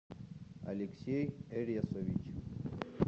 алексей эресович